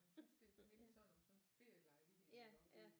Hun syntes det mindede sådan om sådan en ferielejlighed iggå